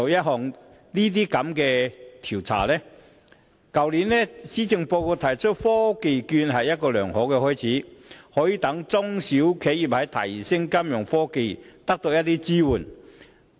去年，施政報告建議推出科技券計劃，這是一個良好的開始，為中小型企業提供支援，以提升金融科技。